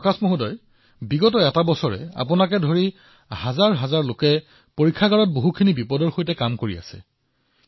প্ৰকাশজী আপোনাৰ দৰে হাজাৰ হাজাৰ লোকে যোৱা এবছৰ ধৰি পৰীক্ষাগাৰত কাম কৰি আছে আৰু ইমান খিনি কৰি আছে